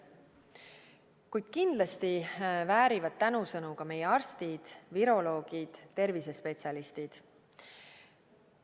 Kuid kindlasti väärivad tänusõnu ka meie arstid, viroloogid, tervisespetsialistid.